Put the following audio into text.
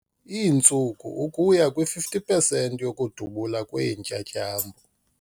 Iintsuku ukuya kwi-50 pesenti yokudubula kweentyatyambo.